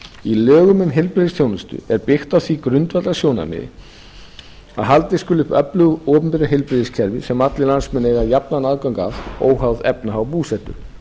í lögum um heilbrigðisþjónustu er byggt á því grundvallarsjónarmiði að haldið skuli uppi öflugu opinberu heilbrigðiskerfi sem allir landsmenn eiga jafnan aðgang að óháð efnahag og búsetu